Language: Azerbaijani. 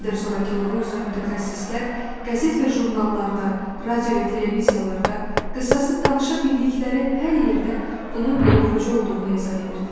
Gender zorakılığı üzrə mütəxəssislər, qəzet və jurnallarda, radio və televiziyalarda, qısası danışa bildikləri hər yerdə bunun yoluxucu olduğunu izah edirdilər.